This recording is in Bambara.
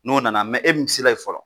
N'o nana mɛ e dun sela ye fɔlɔ